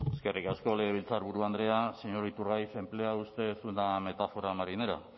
eskerrik asko legebiltzarburu andrea señor iturgaiz emplea usted una metáfora marinera